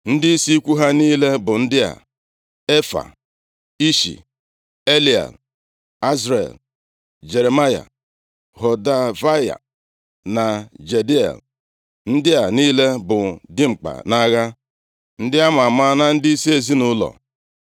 Ndịisi ikwu ha niile bụ ndị a: Efaa, Ishi, Eliel, Azriel, Jeremaya, Hodavaya na Jadiel. Ndị a niile bụ dimkpa nʼagha, ndị a ma ama na ndịisi ezinaụlọ.